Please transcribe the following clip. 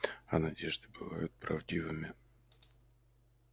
а надежды бывают правдивыми